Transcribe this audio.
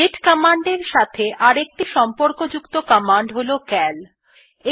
দাতে command এর সাথে অপর একটি সম্পর্কযুক্ত কমান্ড হল সিএএল কমান্ড